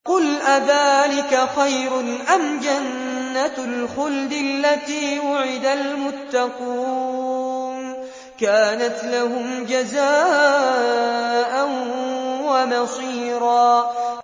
قُلْ أَذَٰلِكَ خَيْرٌ أَمْ جَنَّةُ الْخُلْدِ الَّتِي وُعِدَ الْمُتَّقُونَ ۚ كَانَتْ لَهُمْ جَزَاءً وَمَصِيرًا